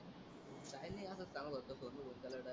काही नाही असच सांगत होत सोनू कोटी चाला direct.